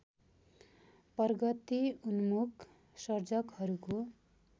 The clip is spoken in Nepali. प्रगति उन्मुख सर्जकहरूको